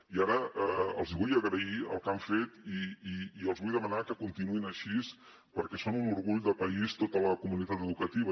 i ara els vull agrair el que han fet i els vull demanar que continuïn així perquè són un orgull de país tota la comunitat educativa